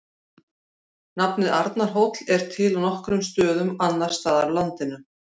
Nafnið Arnarhóll er til á nokkrum stöðum annars staðar á landinu.